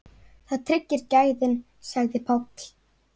Það tryggir gæðin sagði Páll.